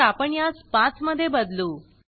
तर आपण यास 5 मध्ये बदलू